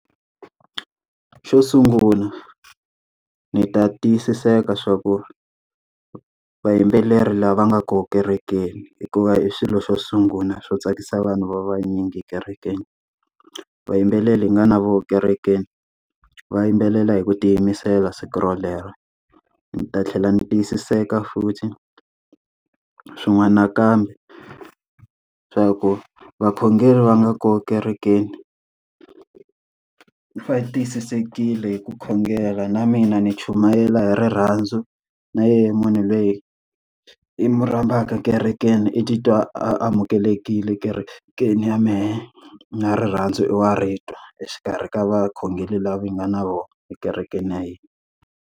Xo sungula ni ta tiyisiseka swa ku vayimbeleri lava nga kona ekerekeni hikuva i swilo swo sungula swo tsakisa vanhu va vanyingi ekerekeni. Vayimbeleri hi nga na vona ekerekeni va yimbelela hi ku tiyimisela siku rolero, ni ta tlhela ni tiyisiseka futhi swin'wana nakambe swa ku vakhongeri va nga kona kerekeni, va tiyisisekile hi ku khongela na mina ni chumayela hi rirhandzu na yehe munhu loyi hi n'wi rhambaka ekerekeni i titwa a amukelekile kerekeni ya mehe. Na rirhandzu i wa ri twa exikarhi ka vakhongeri lava hi nga na vona ekerekeni ya hina.